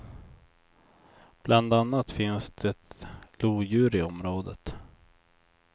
Bland annat finns det lodjur i området.